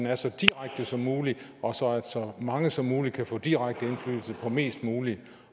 er så direkte som muligt og så mange som muligt kan få direkte indflydelse på mest muligt